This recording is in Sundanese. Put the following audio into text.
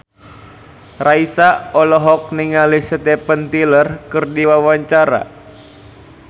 Raisa olohok ningali Steven Tyler keur diwawancara